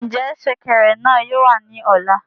Njẹ ṣẹ̀kẹ̀rẹ̀ náà yóò wà ní ọ̀la?